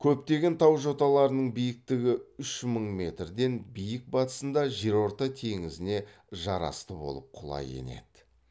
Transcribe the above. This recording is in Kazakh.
көптеген тау жоталарының биіктігі үш мың метрден биік батысында жерорта теңізіне жарасты болып құлай енеді